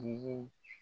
Yirini